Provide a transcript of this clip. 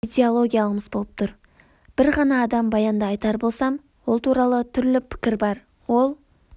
идеологиямыз болып тұр бір ғана адам баянды айтар болсам ол туралы түрлі пікір бар ол